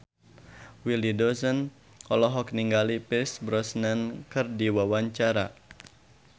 Willy Dozan olohok ningali Pierce Brosnan keur diwawancara